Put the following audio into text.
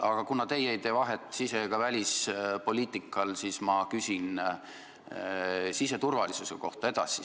Aga kuna teie ei tee vahet sise- ega välispoliitikal, siis ma küsin siseturvalisuse kohta edasi.